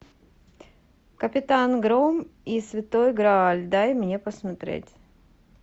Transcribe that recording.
капитан гром и святой грааль дай мне посмотреть